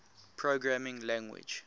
programming language